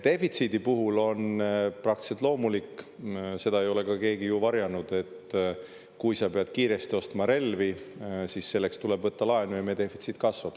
Defitsiidi puhul on praktiliselt loomulik – seda ei ole ka keegi ju varjanud –, et kui sa pead kiiresti ostma relvi, siis selleks tuleb võtta laenu ja meie defitsiit kasvab.